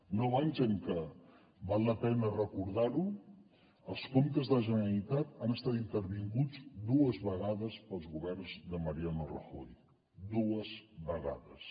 nou anys en què val la pena recordar ho els comptes de la generalitat han estat intervinguts dues vegades pels governs de mariano rajoy dues vegades